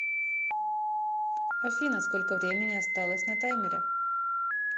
афина сколько времени осталось на таймере